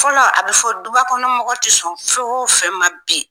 Fɔlɔ a bɛ fɔ dubakɔnɔ mɔgɔ tɛ sɔn fɛn o fɛn ma bi